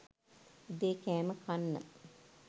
උදේ කෑම කන්න